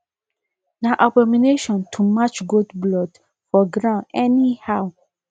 na abomination to match goat blood for grand anyhow